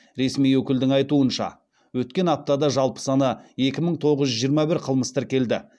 ресми өкілдің айтуынша өткен аптада жалпы саны екі мың тоғыз жүз жиырма бір қылмыс тіркелді